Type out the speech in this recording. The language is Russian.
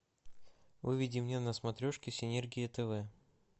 выведи мне на смотрешке синергия тв